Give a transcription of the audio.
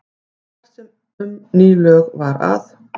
Þar sem um ný lög var að